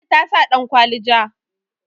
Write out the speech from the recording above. ladi ta sa dankwali ja